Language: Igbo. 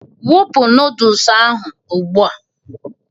wụpụ noodolus ahụ ugbu a!